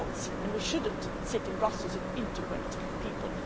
We cannot and we should not sit in Brussels and integrate people.